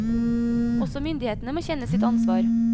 Også myndighetene må kjenne sitt ansvar.